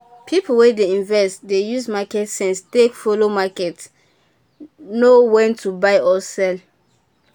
people wey dey invest dey use market sense take follow market know when to buy or sell.